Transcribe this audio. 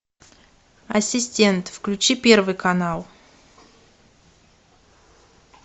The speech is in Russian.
ассистент включи первый канал